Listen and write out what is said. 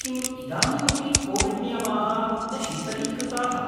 किम् इदानीमपि कोविड् नियमाः न शिथिलीकृताः?